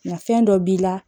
Nka fɛn dɔ b'i la